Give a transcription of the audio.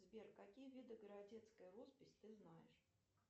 сбер какие виды городецкой росписи ты знаешь